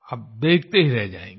आप देखते ही रह जायेंगें